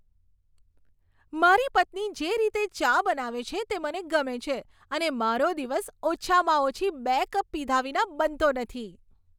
મારી પત્ની જે રીતે ચા બનાવે છે તે મને ગમે છે અને મારો દિવસ ઓછામાં ઓછી બે કપ પીધા વિના બનતો નથી.